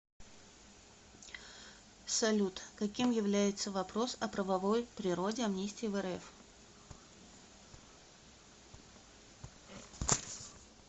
салют каким является вопрос о правовой природе амнистии в рф